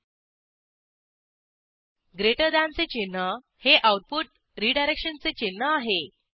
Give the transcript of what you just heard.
GT greater दॅनचे चिन्ह हे आऊटपुट रीडायरेक्शनचे चिन्ह आहे